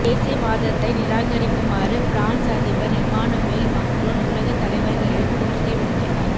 தேசியவாதத்தை நிராகரிக்குமாறு பிரான்ஸ் அதிபர் Emmanuel Macron உலக தலைவர்களிடம் கோரிக்கை விடுத்துள்ளார்